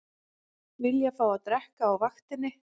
Vilja fá að drekka á vaktinni